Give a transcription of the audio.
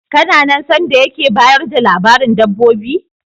Kana nan sanda yake bayar da labarin dabbobi?